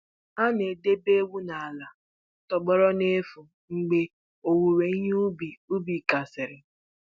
A na-edebe ewu n'ala tọgbọrọ n'efu mgbe owuwe ihe ubi ubi gasịrị.